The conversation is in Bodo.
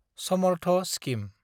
समर्थ स्किम